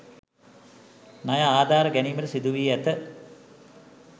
ණය ආධාර ගැනීමට සිදුවී ඇත